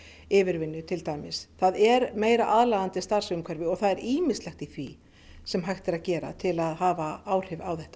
yfirvinnu til dæmis það er meira aðlaðandi starfsumhverfi og það er ýmislegt í því sem hægt er að gera til að hafa áhrif á þetta